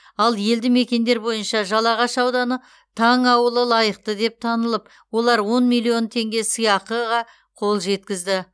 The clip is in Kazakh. ал елді мекендер бойынша жалағаш ауданы таң ауылы лайықты деп танылып олар он миллион теңге сыйақыға қол жеткізді